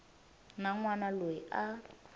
na n wana loyi a